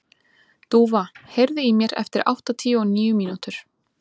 Dúfa, heyrðu í mér eftir áttatíu og níu mínútur.